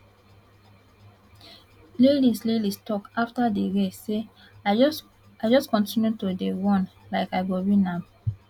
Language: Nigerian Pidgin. lelis lelis tok afta di race say i just continue to dey run like i go win am